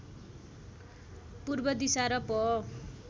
पूर्व दिशा र प